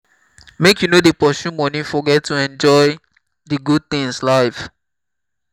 make you no dey pursue moni forget to enjoy di good tins life.